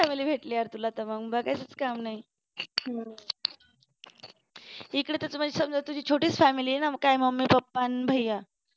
काय भारी family भेटले यार तुला तर इकडं तर सगळं छोटी family आहे ना मग काय मम्मी पप्पा आणि